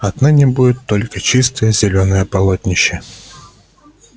отныне будет только чистое зелёное полотнище